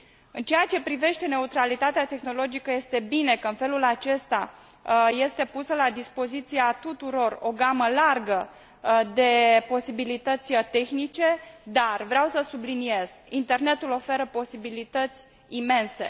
În ceea ce privește neutralitatea tehnologică, este bine că, în felul acesta, este pusă la dispoziția tuturor o gamă largă de posibilități tehnice, dar vreau să subliniez internetul oferă posibilități imense